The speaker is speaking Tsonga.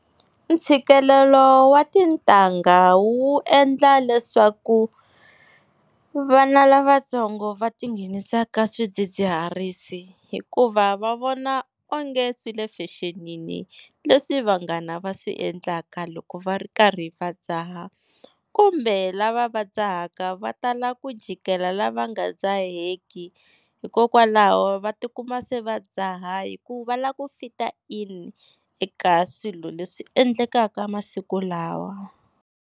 Ntshikelelo wa tintangha wu endla leswaku vana lavatsongo va ti nghenisa ka swidzidziharisi, hikuva va vona onge swi le fexenini leswi vanghana va swi endlaka loko va ri karhi va dzaha. Kumbe lava va dzahaka va tala ku jikela lava nga dzaheki hikokwalaho va tikuma se va dzaha, hi ku va lava ku fita in eka swilo leswi endlekaka masiku lawa.